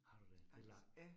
Har du det, det langt